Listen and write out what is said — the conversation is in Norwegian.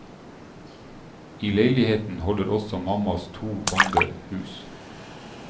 I leiligheten holder også mammas to ånder hus.